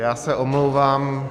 Já se omlouvám.